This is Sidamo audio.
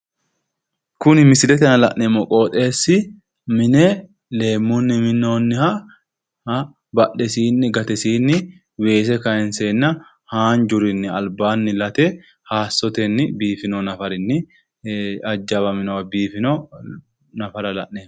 Kuni misilete aana la'neemmo qooxeessi mine leemmunni minnoonniha badhesiinni gatesiinni weese kaanseenna haanjurinni albaanni late hayissotenni biifino nafarinni hajjawamino biifino nafara la'neemmo.